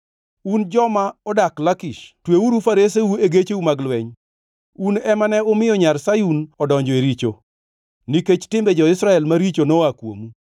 Un joma odak Lakish tweuru fareseu e gecheu mag lweny. Un ema ne umiyo nyar Sayun odonjo e richo, nikech timbe jo-Israel maricho noa kuomu.